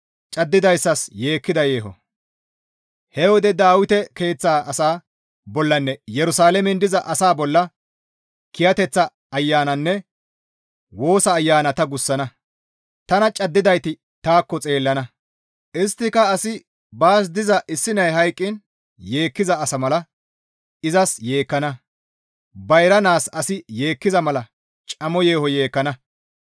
«He wode Dawite keeththa asaa bollanne Yerusalaamen diza asaa bolla kiyateththa ayananne woosa ayana ta gussana; tana caddidayti taakko xeellana; isttika asi baas diza issi nay hayqqiin yeekkiza asa mala izas yeekkana; bayra naas asi yeekkiza mala camo yeeho yeekkana.